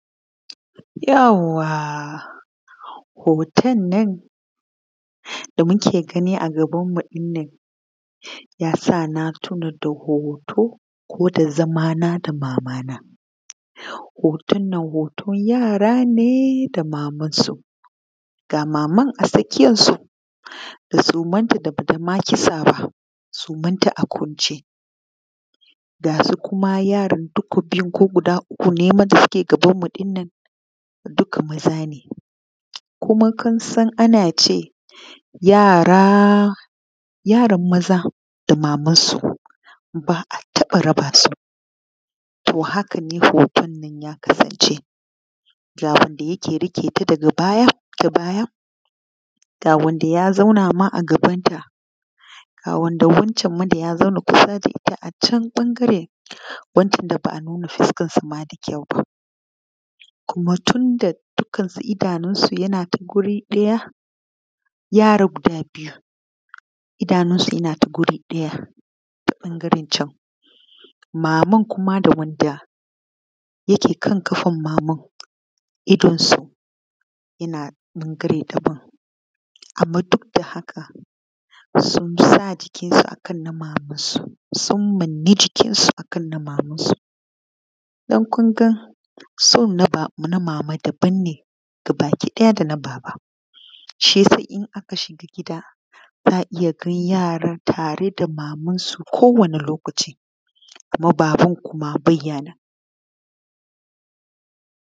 Yauwa hoton nan da muke gani a gabanmu ɗin nan ya sa na tuna da hoto ko da zamana da mamana, hoton nan hoton yara ne da mamansu ga maman a tsakiyansu da sumanta ba ta ma kitsa ba, sumanta a kwance gama yaran da suke hoton nan guda biyu ne ko guda uku ne duka maza ne kuma kun san ana ce yara yara maza da mamansu ba a taɓa rab asu. To, haka ne hoton nan ya kasance daga wanda yake riƙeta ta baya ga wanda ya ma zauna a gabanta ga wanda ya zauna da ita a can, wani ɓangare wanda ba a nuna fusakansa ma da kyau ba kuma tun da duka idanunsu yana ta waje ɗaya, yara guda biyu idansu yana ta waje ɗaya ta ɓangarencan maman kuma da wanda yake kan ƙafan maman, idansu yana ɓangare daban anman duk da haka sun manmane jikinsu akan na mamansu kun ga so na mama daban ne gabakiɗaya da na baba shi ya sa in aka shiga gida za a iya ganin yara tare da mamansu kowane lokaci kuma baban kuma ba ya nan.